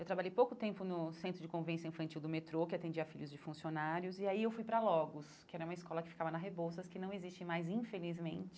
Eu trabalhei pouco tempo no centro de convença infantil do metrô, que atendia filhos de funcionários, e aí eu fui para a Logos, que era uma escola que ficava na Rebouças, que não existe mais, infelizmente.